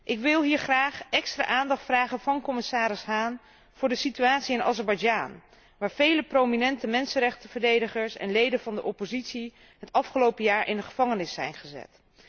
Ik wil hier graag extra aandacht vragen van commissaris Hahn voor de situatie in Azerbeidzjan, waar vele prominente mensenrechtenverdedigers en leden van de oppositie het afgelopen jaar in de gevangenis zijn gezet.